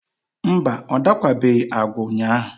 mba, ọ dakwabeghị agwa ụnyaahụ.